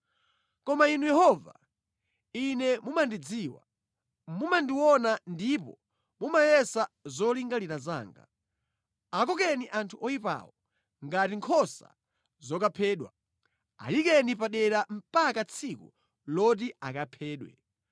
Koma Inu Yehova, ine mumandidziwa; mumandiona ndipo mumayesa zolingalira zanga. Akokeni anthu oyipawo ngati nkhosa zokaphedwa! Ayikeni padera mpaka tsiku loti akaphedwe!